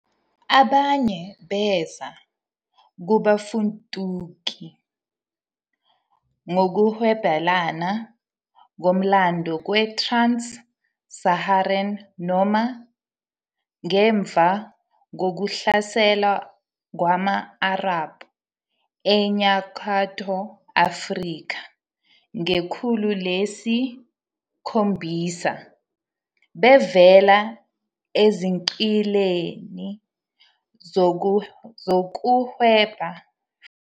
Abanye beza kubafuduki ngokuhwebelana komlando kwe-Trans-Saharan noma, ngemva kokuhlasela kwama-Arab eNyakatho Afrika ngekhulu lesi-7, bevela ezigqileni zokuhweba ngezigqila e-Trans-Saharan eNyakatho Afrika.